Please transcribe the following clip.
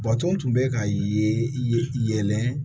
Bato tun bɛ ka ye yɛlɛ